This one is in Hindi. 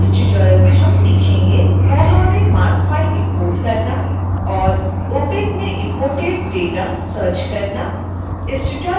इस ट्यूटोरियल में हम सीखेंगे koha में marc फाइल इंपोर्ट करना और opac में इम्पोर्टेड डेटा सर्च करना